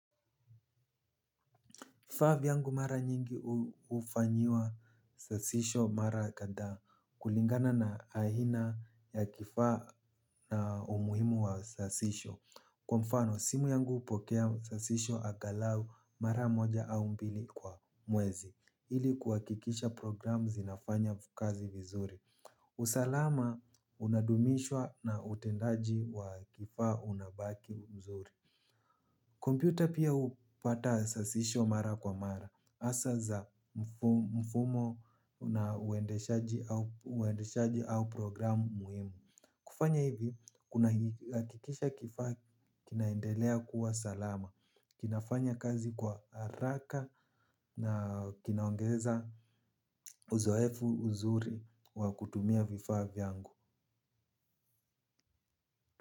Vifaa vyangu mara nyingi hufanyiwa sasisho mara kadhaa kulingana na aina ya kifaa na umuhimu wa sasisho. Kwa mfano, simu yangu hupokea sasisho angalau mara moja au mbili kwa mwezi. Ili kuhakikisha programu zinafanya kazi vizuri. Usalama unadumishwa na utendaji wa kifaa unabaki mzuri. Kompyuta pia hupata sasisho mara kwa mara, hasa za mfumo na uendeshaji au program muhimu. Kufanya hivi, kuna hakikisha kifaa kinaendelea kuwa salama, kinafanya kazi kwa haraka na kinaongeza uzoefu, uzuri wa kutumia vifaa vyangu.